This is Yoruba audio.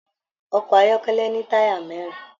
Ọkọ ayọkẹlẹ ní taya mẹrin.